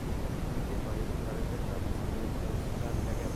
uite parieet taretet ap sabeet en sudan legem